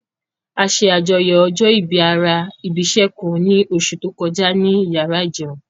A ṣe àjọyọ̀ ọjọ́ ìbí ara ibi'ṣẹ́ kan ní oṣù tó kọjá ní iyàrá ìjẹun